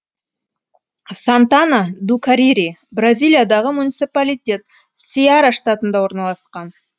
сантана ду карири бразилиядағы муниципалитет сеара штатында орналасқан